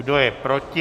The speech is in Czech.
Kdo je proti?